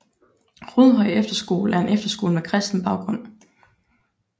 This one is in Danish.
Rudehøj Efterskole er en efterskole med kristen baggrund